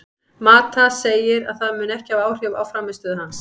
Mata segir að það muni ekki hafa áhrif á frammistöðu hans.